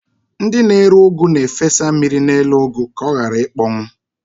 Ndị na-ere ụgụ na-efesa mmiri n'elu ụgụ ka ọ ghara ịkpọnwụ.